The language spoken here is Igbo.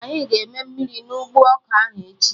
Anyị ga-eme mmiri na ụgbọ ọka ahụ echi